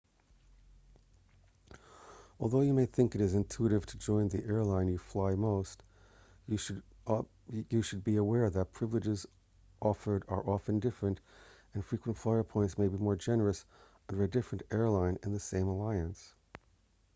although you may think it is intuitive to join the airline you fly most you should be aware that privileges offered are often different and frequent flyer points may be more generous under a different airline in the same alliance